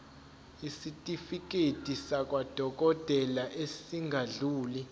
isitifiketi sakwadokodela esingadluli